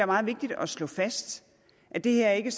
meget vigtigt at slå fast at det her ikke